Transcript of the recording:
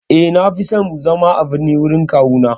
Eh, Na fi son zama a birni gurin kawuna.